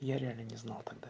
я реально не знал тогда